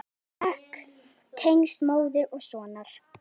Sterk tengsl móður og sonar.